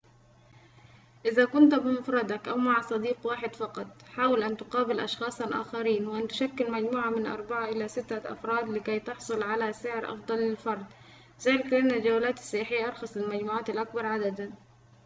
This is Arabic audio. إذا كنت بمفردك أو مع صديق واحد فقط حاول أن تقابل أشخاصاً آخرين وأن تشكل مجموعة من أربعة إلى ستة أفراد لكي تحصل على سعر أفضل للفرد ذلك لأن الجولات السياحية أرخص للمجموعات الأكبر عدداً